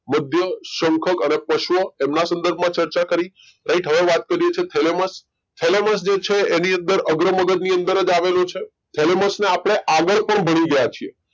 મધ્ય શંખક અને પશ્વ એમના સંદર્ભમાં ચર્ચા કરી right હવે વાત કરીએ છીએ થેલેમસ થેલેમસ જે છે એની અંદર અગ્ર મગજની અંદર જ આવેલું છે થેલેમસને આપણે આગળ પણ ભણી ગયા છીએ